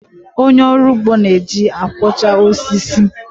Onye ọrụ ugbo na-eji akwọcha osisi.